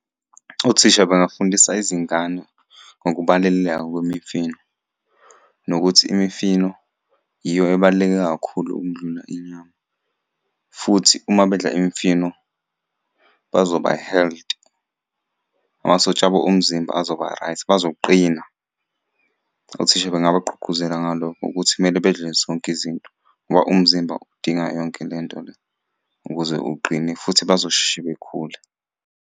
Othisha bangafundisa izingane ngokubaluleka kwemifino, nokuthi imifino yiyo ebaluleke kakhulu ukudlula inyama, futhi uma bedla imifino bazoba healthy. Amasotsha abo omzimba azoba-right, bazoqina. Othisha bengabagqugquzela ngalokho ukuthi kumele bedle zonke izinto ngoba umzimba udinga yonke le nto le, ukuze uqine futhi bazosheshe bekhule.